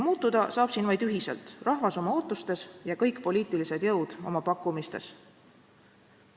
Muutuda saab siin vaid ühiselt, rahvas oma ootustes ja kõik poliitilised jõud oma pakkumistes.